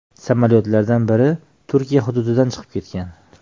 Samolyotlardan biri Turkiya hududidan chiqib ketgan.